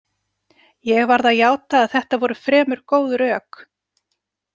Ég varð að játa að þetta voru fremur góð rök.